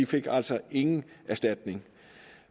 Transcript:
fik altså ingen erstatning